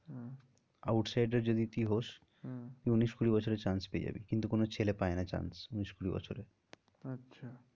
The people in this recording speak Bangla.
Out side এর যদি তুই হোস হম উনিশ কুড়ি বছরে chance পেয়ে যাবি কিন্তু কোনো ছেলে পায় না chance উনিশ কুড়ি বছরে আচ্ছা